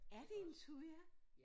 Er det en thuja?